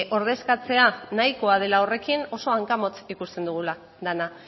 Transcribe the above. ordezkatzea nahikoa dela horrekin oso hankamotz ikusten dugula dena